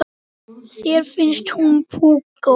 Þér finnst hún púkó.